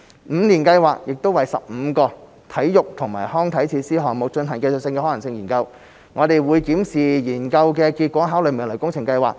五年計劃亦為15個體育及康樂設施項目進行技術可行性研究，我們會檢視研究的結果，考慮未來的工程計劃。